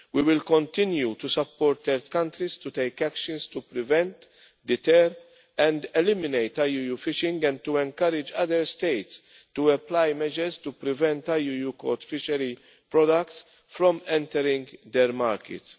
We will continue to support third countries to take actions to prevent, deter and eliminate IUU fishing and to encourage other states to apply measures to prevent IUU caught fishery products from entering their markets.